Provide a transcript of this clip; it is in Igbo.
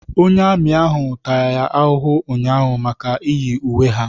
Onye amị ahụ tara ya ahụhụ ụnyaahụ maka iyi uwe ha.